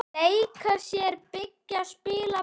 Leika sér- byggja- spila- perla